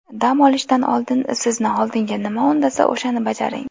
Dam olishdan oldin, sizni oldinga nima undasa, o‘shani bajaring.